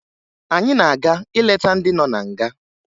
Anyị na-aga ileta ndị nọ na nga